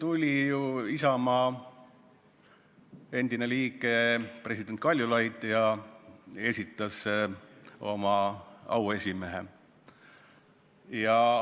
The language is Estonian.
Siia tuli ju Isamaa endine liige president Kaljulaid ja esitas selle erakonna auesimehe.